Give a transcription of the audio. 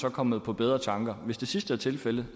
er kommet på bedre tanker hvis det sidste er tilfældet